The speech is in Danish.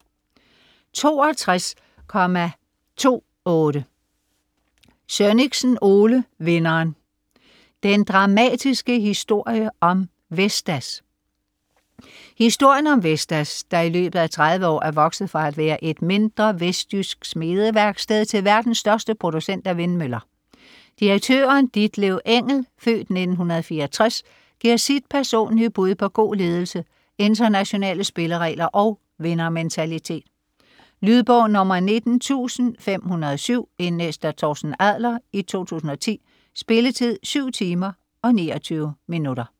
62.28 Sønnichsen, Ole: Vinderen: den dramatiske historie om Vestas Historien om Vestas, der i løbet af 30 år er vokset fra at være et mindre vestjysk smedeværksted til verdens største producent af vindmøller. Direktøren Ditlev Engel (f. 1964) giver sit personlige bud på god ledelse, internationale spilleregler og vindermentalitet. Lydbog 19507 Indlæst af Torsten Adler, 2010. Spilletid: 7 timer, 29 minutter.